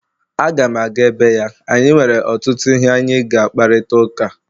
Aga m aga ebe ya anyị nwere ọtụtụ ihe anyị ga-akparịta ụka